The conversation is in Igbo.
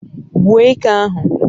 gbuo eke ahu